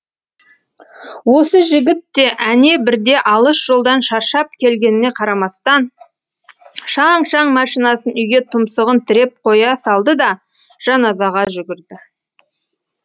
осы жігіт те әне бірде алыс жолдан шаршап келгеніне қарамастан шаң шаң машинасын үйге тұмсығын тіреп қоя салды да жаназаға жүгірді